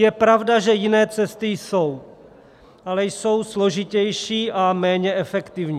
Je pravda, že jiné cesty jsou, ale jsou složitější a méně efektivní.